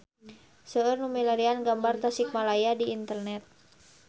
Seueur nu milarian gambar Tasikmalaya di internet